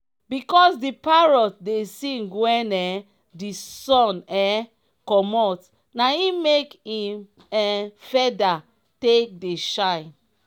because di parrot dey sing wen um di sun um commot na im make im um feda take dey shine.